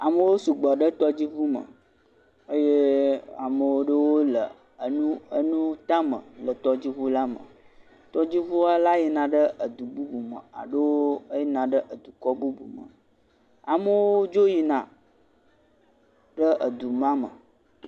Amewo sugbɔ ɖe tɔdziʋume eye ame aɖewo le nuwo tame le tɔdziʋu la me tɔdziʋu la yina ɖe du bubume alo yina ɖe dukɔ bubu me amewo dzo yina ɖe duma me